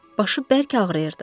Başı bərk ağrıyırdı.